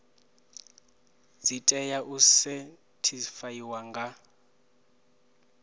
dzi tea u sethifaiwa nga